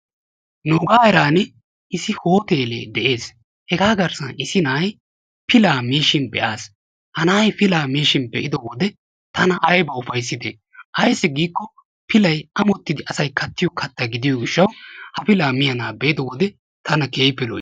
Nuugaa heeraan issi hotelee de'ees. Hegaa garssan issi na'ay pilaa miishshin be'aas. Ha na'ay pilaa miishshin be'ido wode tana ayba uffayssidee. Ayssi giikko pilay ammottidi asay kattiyo katta gidiyo gishshawu ha pilaa miya na'aa be'ido wode tana keehiippe lo'iis.